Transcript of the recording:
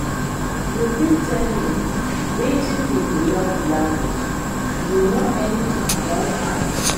you fit tell me wetin be di love language, you know anything about am?